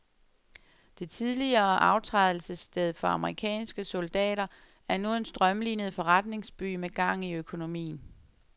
Det tidligere aftrædelsessted for amerikanske soldater er nu en strømlinet forretningsby med gang i økonomien.